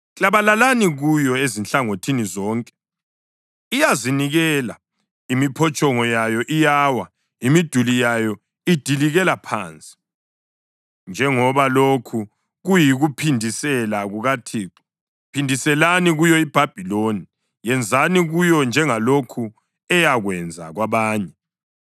Klabalalani kuyo ezinhlangothini zonke! Iyazinikela, imiphotshongo yayo iyawa, imiduli yayo idilikela phansi. Njengoba lokhu kuyikuphindisela kukaThixo, phindiselani kuyo iBhabhiloni; yenzani kuyo njengalokhu eyakwenza kwabanye.